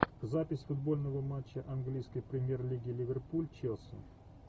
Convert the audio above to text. запись футбольного матча английской премьер лиги ливерпуль челси